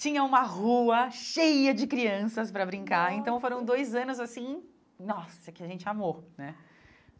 tinha uma rua cheia de crianças para brincar, nossa então foram dois anos assim, nossa, que a gente amou, né?